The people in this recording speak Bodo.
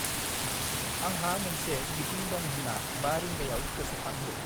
आंहा मोनसे मिटिं दं होनना 5 रिंगायाव गोसोखांहो ।